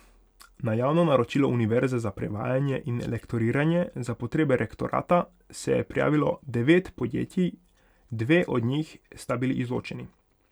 Na javno naročilo univerze za prevajanje in lektoriranje za potrebe rektorata se je prijavilo devet podjetij, dve od njih sta bili izločeni.